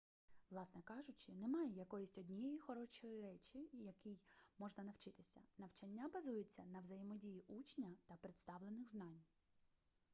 власне кажучи немає якоїсь однієї хорошої речі якій можна навчитися навчання базується на взаємодії учня та представлених знань